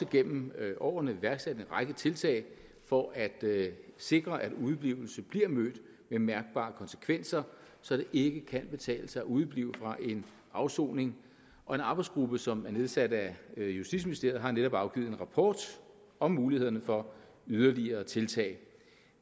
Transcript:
gennem årene iværksat en række tiltag for at sikre at udeblivelse bliver mødt med mærkbare konsekvenser så det ikke kan betale sig at udeblive fra en afsoning og en arbejdsgruppe som er nedsat af justitsministeriet har netop afgivet en rapport om mulighederne for yderligere tiltag